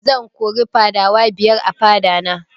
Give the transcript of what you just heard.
Zan kori fadawa biyar a fada na